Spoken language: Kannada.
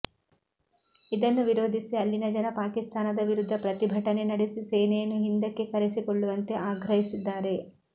ಇದನ್ನು ವಿರೋಧಿಸಿ ಅಲ್ಲಿನ ಜನ ಪಾಕಿಸ್ತಾನದ ವಿರುದ್ಧ ಪ್ರತಿಭಟನೆ ನಡೆಸಿ ಸೇನೆಯನ್ನು ಹಿಂದಕ್ಕೆ ಕರೆಸಿಕೊಳ್ಳುವಂತೆ ಆಗ್ರಹಿಸಿದ್ದಾರೆ